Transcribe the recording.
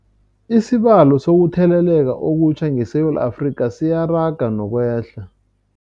Isibalo sokuthele leka okutjha ngeSewula Afrika siyaraga nokwehla.